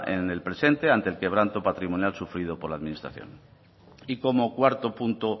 en el presente ante el quebranto patrimonial sufrido por la administración y como cuarto punto